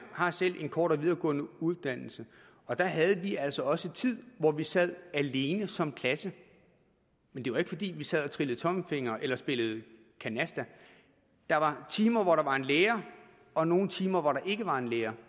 har selv en kortere videregående uddannelse og der havde vi altså også tid hvor vi sad alene som klasse men det var ikke fordi vi sad og trillede tommelfingre eller spillede canasta der var timer hvor der var en lærer og nogle timer hvor der ikke var en lærer